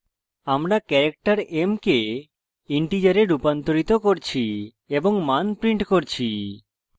আমরা character m কে integer রুপান্তরিত করছি এবং মান printing করছি